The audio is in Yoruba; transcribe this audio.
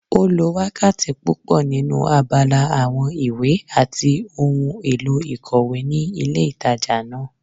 Ó lo wákàtí púpọ̀ nínu abala àwọn ìwé àti ohun èlò ìkòwé ní ilé ìtajà náà